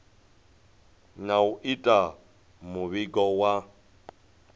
na u ita muvhigo wa